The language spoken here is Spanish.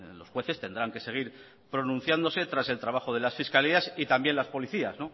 los jueces tendrán que seguir pronunciándose tras el trabajo de las fiscalías y también las policías